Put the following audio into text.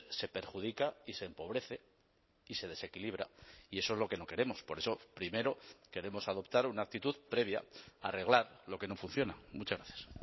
se perjudica y se empobrece y se desequilibra y eso es lo que no queremos por eso primero queremos adoptar una actitud previa arreglar lo que no funciona muchas gracias